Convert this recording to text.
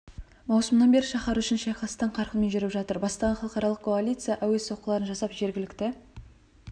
маусымнан бері шаһар үшін шайқас тың қарқынмен жүріп жатыр бастаған халықаралық коалиция әуе соққыларын жасап жергілікті